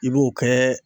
I b'o kɛ